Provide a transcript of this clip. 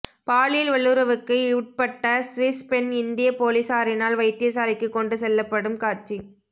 பாலியல் வல்லுறவுக்கு உட்பட்ட சுவிஸ் பெண் இந்திய பொலிஸாரினால் வைத்தியசாலைக்கு கொண்டு செல்லப்படும் காட்சி